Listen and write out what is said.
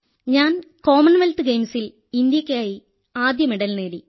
ഞാൻ കോമൺവെൽത്ത് ഗെയിംസിൽ ഇന്ത്യയ്ക്കായി ആദ്യമെഡൽ നേടി